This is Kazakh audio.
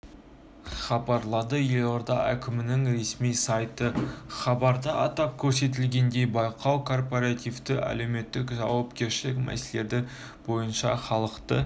хабарлады елорда әкімінің ресми сайты хабарда атап көрсетілгендей байқау корпоративті әлеуметтік жауапкершілік мәселелері бойынша халықты